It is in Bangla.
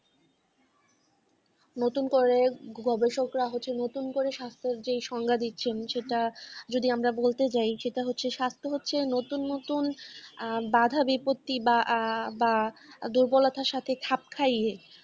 নতুন করে গবেষকরা হচ্ছে নতুন করে স্বাস্থ্যের যেই সংজ্ঞা দিচ্ছেন যেটা যদি আমরা বলতে যাই যেটা হচ্ছে স্বাস্থ্য হচ্ছে নতুন নতুন বাধা-বিপত্তি বা দুর্বলতা সাথে খাপ খাইয়ে